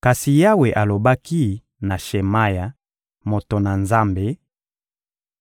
Kasi Yawe alobaki na Shemaya, moto na Nzambe: